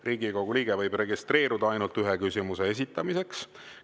Riigikogu liige võib registreeruda ainult ühe küsimuse esitamiseks.